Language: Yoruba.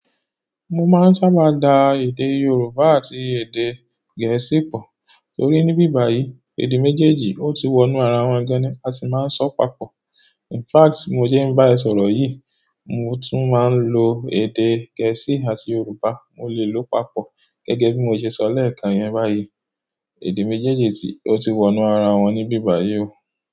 Mo máa ń sábà máa da èdè Yorùbá àti èdè gẹ̀ẹ́sì pọ̀ torí ní bíbàyí èdè méjèèjì ó ti wọnú ara wọn gan ni a sì máa ń sọ papọ̀. In fact bi mo se ń bá ẹ sọ̀rọ̀ yìí, mo tún máa ń lo èdè gẹ̀ẹ́sì àti Yorùbá. Mo lè lò ó papọ̀ gẹ́gẹ́ bí mo ṣe sọ lẹ́ẹ̀kan yẹn báyìí. Èdè méjèèjì si-- oti wonu ara won nibi báyìí o.